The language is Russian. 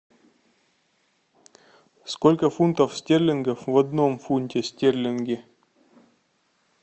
сколько фунтов стерлингов в одном фунте стерлинге